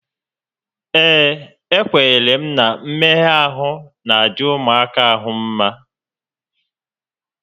Ee, ekwenyere m na mmegha ahụ n'adị ụmụaka ahụ mmá